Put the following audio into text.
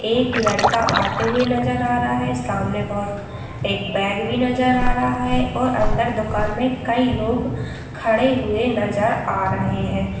एक लड़का आते हुए नजर आ रहा है सामने बहोत एक बेग भी नजर आ रहा है और अन्दर दुकान मे कई लोग खड़े हुए नजर आ रहे है ।